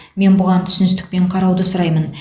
мен бұған түсіністікпен қарауды сұраймын